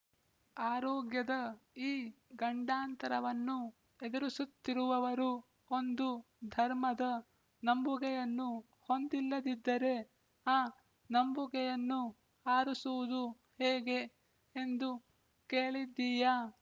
ಆರೋಗ್ಯದ ಈ ಗಂಡಾಂತರವನ್ನು ಎದುರಿಸುತ್ತಿರುವವರು ಒಂದು ಧರ್ಮದ ನಂಬುಗೆಯನ್ನು ಹೊಂದಿಲ್ಲದಿದ್ದರೆ ಆ ನಂಬುಗೆಯನ್ನು ಅರಸುವುದು ಹೇಗೆ ಎಂದು ಕೇಳಿದ್ದೀಯಾ